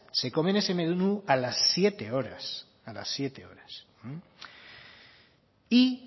se comen ese menú a las siete horas y